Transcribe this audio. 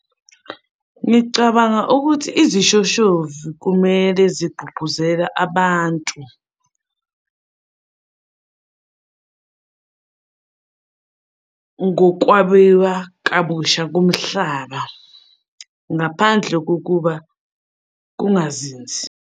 Ngicabanga ukuthi izishoshovu kumele zigqugquzela abantu ngokwabiwa kabusha komhlaba, ngaphandle kokuba kungazinzi.